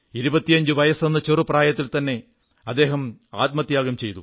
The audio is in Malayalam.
25 വയസ്സെന്ന ചെറു പ്രായത്തിൽത്തന്നെ അദ്ദേഹം ആത്മത്യാഗം ചെയ്തു